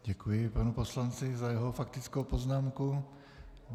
Děkuji panu poslanci za jeho faktickou poznámku.